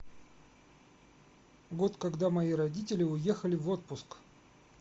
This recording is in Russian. год когда мои родители уехали в отпуск